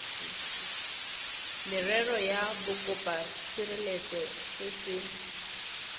merero ya bokopatshireletso se se